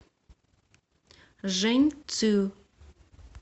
жэньцю